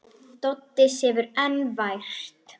Doddi sefur enn vært.